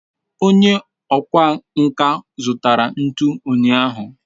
onye okwá nkà zutara ntu unyahu